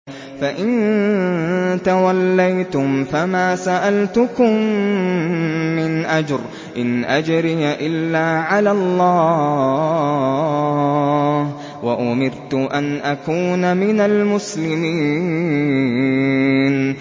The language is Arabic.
فَإِن تَوَلَّيْتُمْ فَمَا سَأَلْتُكُم مِّنْ أَجْرٍ ۖ إِنْ أَجْرِيَ إِلَّا عَلَى اللَّهِ ۖ وَأُمِرْتُ أَنْ أَكُونَ مِنَ الْمُسْلِمِينَ